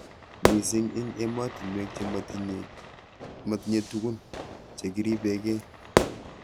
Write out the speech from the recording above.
Mising ing emotunwek che matinyei tukun che kiripe kei.